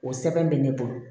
O sɛbɛn bɛ ne bolo